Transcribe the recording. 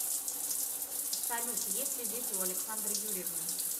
салют есть ли дети у александры юрьевны